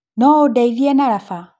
Noũndeithia na raba?